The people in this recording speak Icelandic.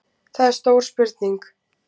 Það er stór spurning